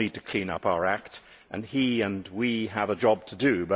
We all need to clean up our acts, and both he and we have a job to do.